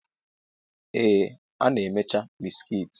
Ee, a na-emecha bisikiiti.